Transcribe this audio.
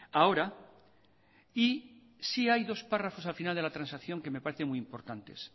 ahora y sí hay dos párrafos al final de la transacción que me parecen muy importantes